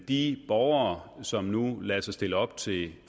de borgere som nu lader sig stille op til